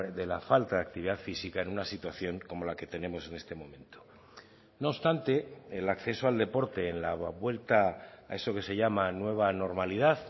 de la falta de actividad física en una situación como la que tenemos en este momento no obstante el acceso al deporte en la vuelta a eso que se llama nueva normalidad